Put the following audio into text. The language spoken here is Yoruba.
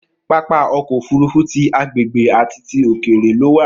Pápá ọkọ òfurufú tí agbègbè àti tí òkèèré lo wa.